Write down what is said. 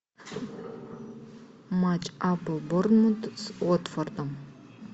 матч апл борнмут с уотфордом